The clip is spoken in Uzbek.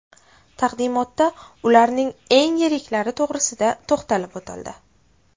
Taqdimotda ularning eng yiriklari to‘g‘risida to‘xtalib o‘tildi.